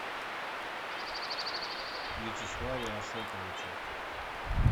вячеславе ашотовиче